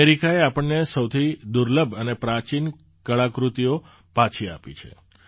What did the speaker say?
અમેરિકાએ આપણને સોથી વધુ દુર્લભ અને પ્રાચીન કળાકૃતિઓ પાછી આપી છે